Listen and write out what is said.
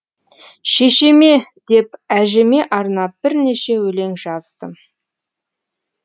шешеме деп әжеме арнап бірнеше өлең жаздым